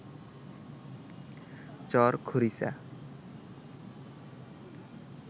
চর খরিচা